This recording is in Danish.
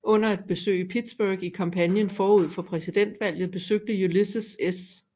Under et besøg i Pittsburgh i kampagnen forud for præsidentvalget besøgte Ulysses S